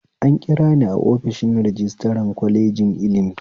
An kirani a ofishin rajistira kwalejin ilimi